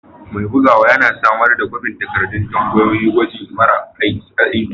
Mai bugawa yana samar da kwafin takaddun tambayoyin gwaji mara aibi.